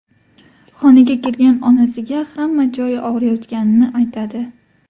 Xonaga kirgan onasiga hamma joyi og‘riyotganini aytadi.